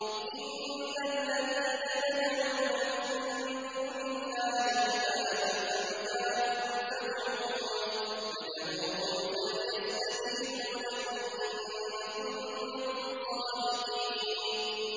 إِنَّ الَّذِينَ تَدْعُونَ مِن دُونِ اللَّهِ عِبَادٌ أَمْثَالُكُمْ ۖ فَادْعُوهُمْ فَلْيَسْتَجِيبُوا لَكُمْ إِن كُنتُمْ صَادِقِينَ